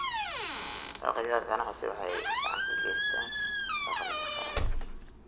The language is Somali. Dalagyada ganacsi waxay gacan ka geystaan dakhliga qaranka.